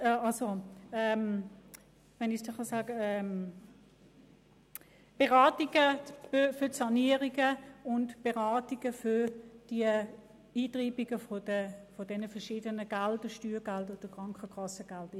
Dort finden Beratungen für Sanierungen und für die Eintreibung von Steuer- und Krankenkassengeldern statt.